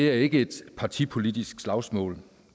er ikke et partipolitisk slagsmål